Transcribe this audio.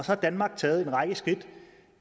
har danmark taget en række skridt